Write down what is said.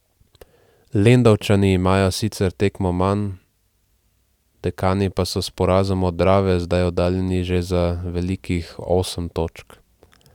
Lendavčani imajo sicer tekmo manj, Dekani pa so s porazom od Drave zdaj oddaljeni že za velikih osem točk.